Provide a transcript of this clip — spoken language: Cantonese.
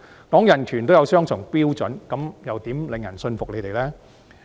談人權也有雙重標準，那怎樣能令人信服他們呢？